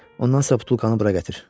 Ondan sonra butulkanı bura gətir.